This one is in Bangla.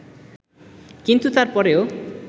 কিন্তু তার পরেও